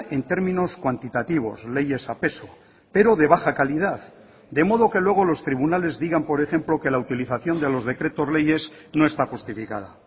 en términos cuantitativos leyes a peso pero de baja calidad de modo que luego los tribunales digan por ejemplo que la utilización de los decretos leyes no está justificada